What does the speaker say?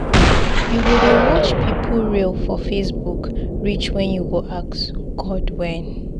You go dey watch pipu reel for Facebook reach wen you go ask 'God when'?